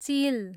चिल